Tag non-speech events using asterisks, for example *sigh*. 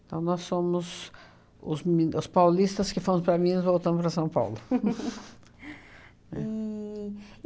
Então, nós somos os mi os paulistas que fomos para Minas e voltamos para São Paulo. *laughs* E